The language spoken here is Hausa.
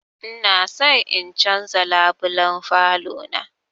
Ina son in canza labulen falo na